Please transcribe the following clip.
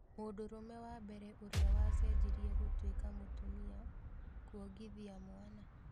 Mũndũrũme wa mbere ũrĩa wacenjirie gũtwĩka mũtumia 'kwongithia mwana'